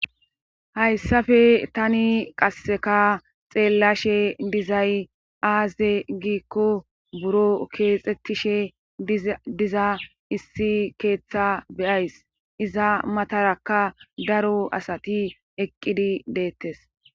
hayssafe tani qasseka xeellashe dizay aaze giikko buro keexettishe diza issi keeththa beyays iza matarakka daro asati eqqidi deettes